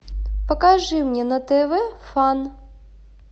покажи мне на тв фан